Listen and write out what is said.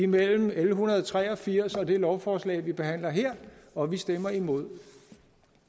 mellem l en hundrede og tre og firs og det lovforslag vi behandler her og vi stemmer imod